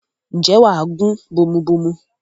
ǹjẹ́ wà á gún bomubómú?